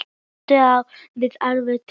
Tvíund á við ákveðið tónbil.